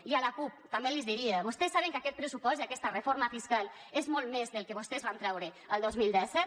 i a la cup també li diria vostès saben que aquest pressupost i aquesta reforma fiscal són molt més del que vostès van treure el dos mil disset